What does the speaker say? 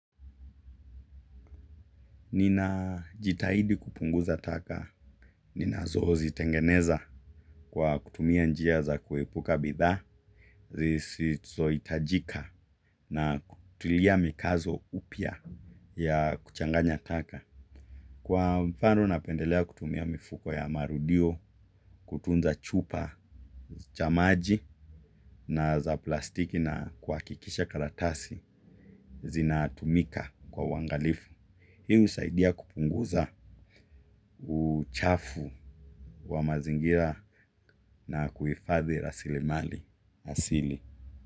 Nina jitahidi kupunguza taka. Ninazo zitengeneza kwa kutumia njia za kuepuka bidhaa. Zisizo itajika na kutilia mikazo upya ya kuchanganya taka. Kwa mfano napendelea kutumia mifuko ya marudio kutunza chupa cha maji na za plastiki na kuakikisha karatasi zinatumika kwa uwangalifu. Hiu usaidia kupunguza uchafu wa mazingira na kuifadhi rasili mali asili.